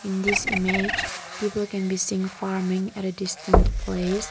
in this image people can be farming at a distant place.